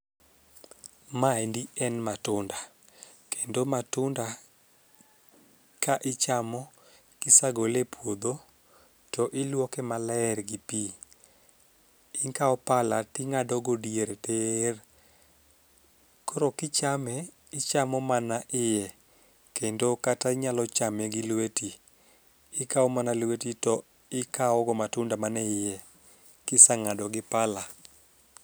Maendi en matunda kendo matunda ka ichamo kisagole e puodho to iluoke maler gi pii, ikawo pala ting'ado go diere tir. Koro kichame ichamo mana iye kendo kata inyalo chame gi lweti ikawo mana lweti to ikawo go matunda man e iye kisang'ado gi pala.